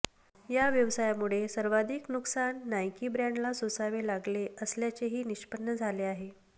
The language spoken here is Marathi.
या व्यवसायामुळे सर्वाधिक नुकसान नाईकी ब्रँडला सोसावे लागले असल्याचेही निष्पन्न झाले आहे